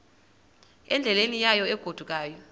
endleleni yayo egodukayo